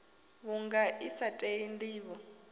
vhunga i sa tei ndivho